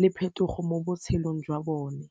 le phetogo mo botshelong jwa bone.